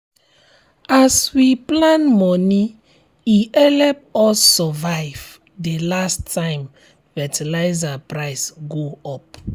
as we plan moni e help us survive the last time fertilizer price go up.